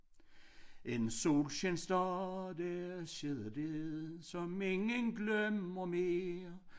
En solskinsdag der skete det som ingen glemmer mere